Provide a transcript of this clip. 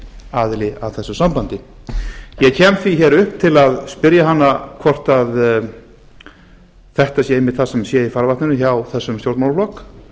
aðili að þessu sambandi ég kem því hér upp til að spyrja hana hvort þetta sé einmitt það sem sé í farvatninu hjá þessum stjórnmálaflokki